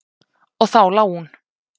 Og þá lá hún.